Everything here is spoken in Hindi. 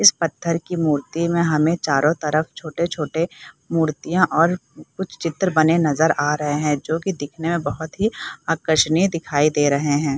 इस पत्थर की मूर्ति में हमे चारो तरफ़ छोटे छोटे मूर्तियाँ और कुछ चित्र बने नजर आ रहे हैं जो कि दिखने में बहुत ही आकर्षणीय दिखाई दे रहे हैं |